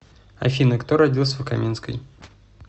афина кто родился в каменской